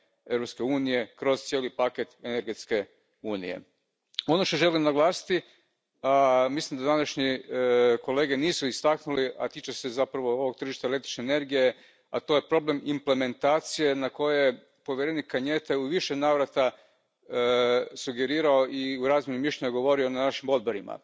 Europske unije kroz cijeli paket energetske unije. Ono što želim naglasiti, mislim da današnji kolege nisu istaknuli, a tiče se zapravo ovog tržišta električne energije, to je problem implementacije na koji je povjerenik Cañete u više navrata sugerirao i u razmjeni mišljenja govorio na našim odborima.